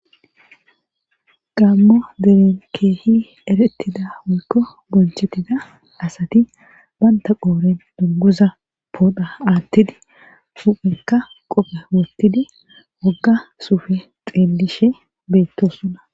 gammo deren keehi erettida woykko bonchettida asati banta qooren dunguza poodha aattidi huphenka qophe wottidi wogga suufe xeelishe beettosona.